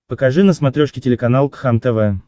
покажи на смотрешке телеканал кхлм тв